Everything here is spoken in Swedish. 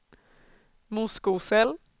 Moskosel